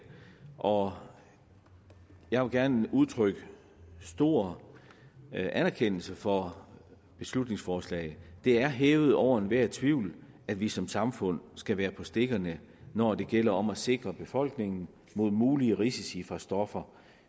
og jeg vil gerne udtrykke stor anerkendelse for beslutningsforslaget det er hævet over enhver tvivl at vi som samfund skal være på stikkerne når det gælder om at sikre befolkningen mod mulige risici fra stoffer